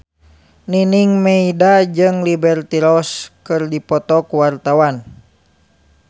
Nining Meida jeung Liberty Ross keur dipoto ku wartawan